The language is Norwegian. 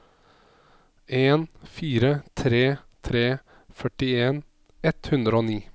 en fire tre tre førtien ett hundre og ni